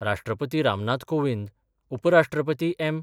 राष्ट्रपती रामनाथ कोविंद, उपराष्ट्रपती एम.